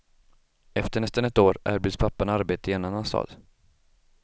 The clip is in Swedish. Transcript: Efter nästan ett år erbjuds pappan arbete i en annan stad.